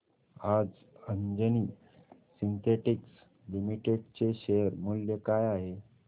आज Anjani synthetics limited चे share मूल्य काय आहे